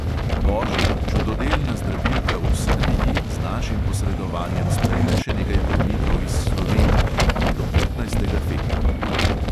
Božja, čudodelna zdravilka v srbiji z našim posredovanjem sprejme še nekaj bolnikov iz slovenije, do petnajstega februarja.